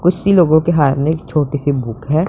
कुछ ही लोगों के हाथ में एक छोटीसी बुक है।